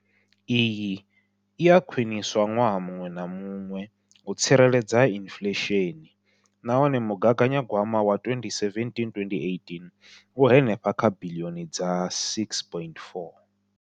Iyi i a khwiniswa ṅwaha muṅwe na muṅwe u tsireledza inflesheni nahone mugaganya gwama wa 2017,18 u henefha kha biḽioni dza R6.4.